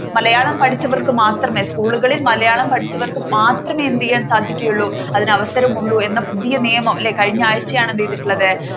മലയാളം പഠിപ്പിച്ചു പഠിച്ചവർക്ക് മാത്രമേ സ്കൂളുകളിൽ മലയാളം പഠിച്ചവർക്കു മാത്രമേ എന്തിയ്യാൻ സാധിക്കുകയുള്ളൂ അതിനവസരമുള്ളൂ എന്ന് പുതിയ നിയമം അല്ലെ കഴിഞ്ഞ ആഴ്ചായാണ് എന്ത്യ്തിട്ടുള്ളത്